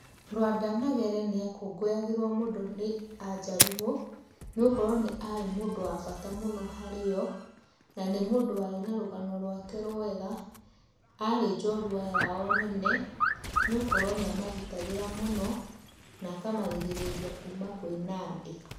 Lwanda Magere nĩ akũngũyagĩrwo mũno nĩ a Jaluo nĩ gũkorwo nĩ arĩ mũndũ wa bata mũno harĩo na nĩ mũndũ warĩ na rũgano rwake rwega. Arĩ njorua yao nene nĩ gũkorwo nĩa magitagĩra mũno na akamarĩgĩrĩria kuũma kwĩ Nandĩ.